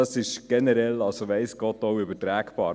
Dies ist weiss Gott übertragbar.